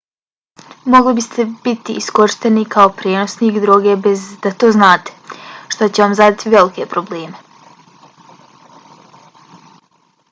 mogli biste biti iskorišteni kao prenosnik droge bez da to znate što će vam zadati velike probleme